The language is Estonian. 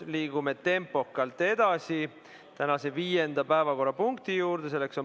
Liigume tempokalt edasi tänase viienda päevakorrapunkti juurde.